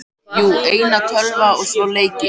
Jú, eina tölvu og tvo leiki.